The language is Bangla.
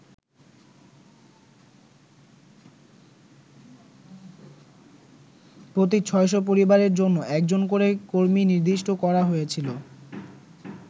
প্রতি ছয়শ পরিবারের জন্য একজন করে কর্মী নির্দিষ্ট করা হয়েছিল।